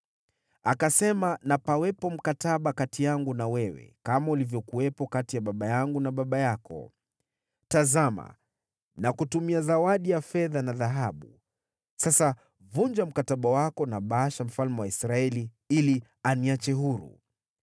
“Akasema na pawepo mkataba kati yangu na wewe, kama ulivyokuwepo kati ya baba yangu na baba yako. Tazama, nimekuletea zawadi ya fedha na dhahabu. Sasa vunja mkataba wako na Baasha mfalme wa Israeli ili aniondokee mimi.”